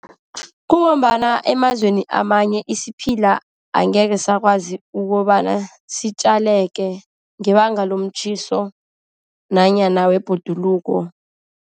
Kungombana emazweni amanye isiphila angeke siyakwazi ukobana sitjaleke, ngebanga lomtjhiso nanyana webhoduluko.